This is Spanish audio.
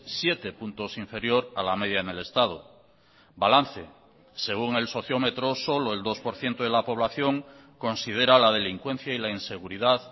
siete puntos inferior a la media en el estado balance según el sociómetro solo el dos por ciento de la población considera la delincuencia y la inseguridad